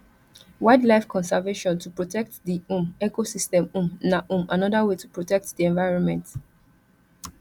wild life conservation to protect di um ecosystem um na um anoda way to protect di environment